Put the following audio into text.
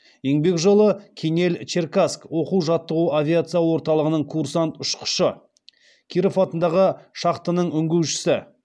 еңбек жолы кинель черкасск оқу жаттығу авиация орталығының курсант ұшқышы киров атындағы шахтаның үңгушісі